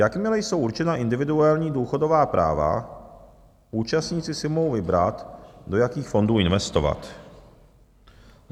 Jakmile jsou určena individuální důchodová práva, účastníci si mohou vybrat, do jakých fondů investovat.